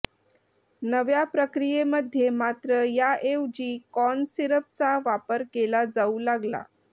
नव्या प्रक्रियेमध्ये मात्र या ऐवजी कॉर्न सिरपचा वापर केला जाऊ लागला